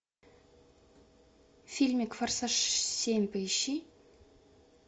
фильмик форсаж семь поищи